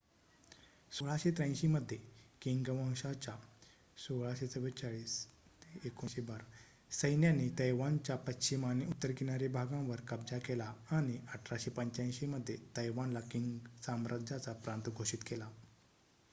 १६८३ मध्ये किंग वंशाच्या १६४४-१९१२ सैन्याने तैवानच्या पश्चिम आणि उत्तर किनारी भागांवर कब्जा केला आणि १८८५ मध्ये तैवानला किंग साम्राज्याचा प्रांत घोषित केला